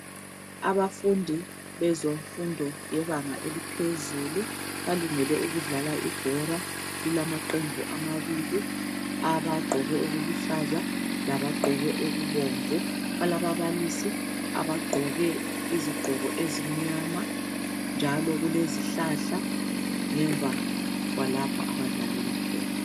Abafundi bezemfundo yebanga eliphezulu balungele ukudlala ibhola lilamaqembu amabili abagqoke okuluhlaza labagqoke okubomvu. Balababalisi abagqoke izigqoko ezimnyama njalo kulezihlahla ngemva kwalapho abadlalela khona.